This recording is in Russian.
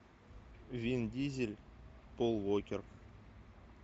вин дизель пол уокер